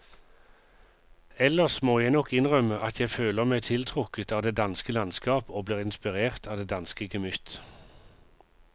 Ellers må jeg nok innrømme at jeg føler meg tiltrukket av det danske landskap og blir inspirert av det danske gemytt.